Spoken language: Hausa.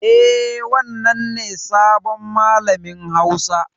Eh, wannan ne sabon malamin hausa.